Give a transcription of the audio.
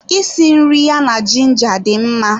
Isi nri ya na ginger dị mma